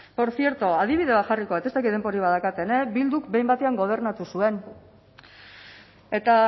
por cierto adibide bat jarriko dut ez dakit denborarik badaukadan bilduk behin batean gobernatu zuen eta